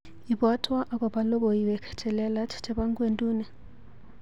Ibwatwa akobo logoiwek chelelach chebo ng'wenduni.